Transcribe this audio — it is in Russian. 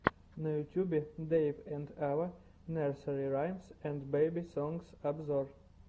на ютюбе дэйв энд ава нерсери раймс энд бэби сонгс обзор